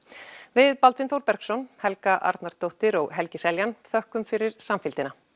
við Þór Bergsson Helga Arnardóttir og Helgi Seljan þökkum fyrir samfylgdina